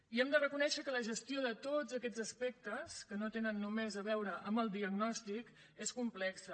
i hem de reconèixer que la gestió de tots aquests aspectes que no tenen només a veure amb el diagnòstic és complexa